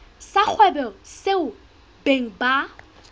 sa kgwebo seo beng ba